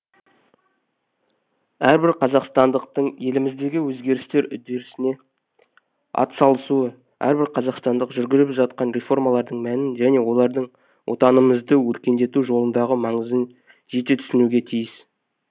әрбір қазақстандықтың еліміздегі өзгерістерге атсалысуы әрбір қазақстандық жүргізіліп жатқан реформалардың мәнін және олардың отанымызды өркендету жолындағы маңызын жете түсінуге тиіс